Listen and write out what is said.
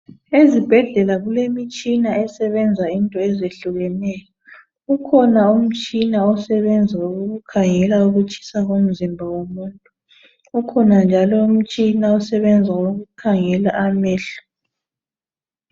Ezibhedlela kulemitshina esebenza into ezehlukeneyo. Ukhona umtshina osebenza ukukhangela ukutshisa komzimba womuntu ukhona njalo umtshina osebenza ukukhangela amehlo.